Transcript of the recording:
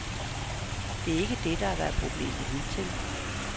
Det er ikke det, der har været problemet hidtil.